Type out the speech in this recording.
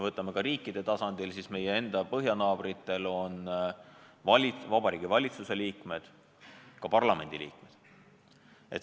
Võtame riikide tasandil: meie enda põhjanaabritel on vabariigi valitsuse liikmed ka parlamendi liikmed.